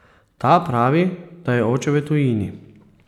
Ta pravi, da je oče v tujini.